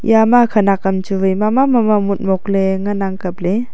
ya ma khanak kam chu wai mama mama motmok le ngan ang kaple.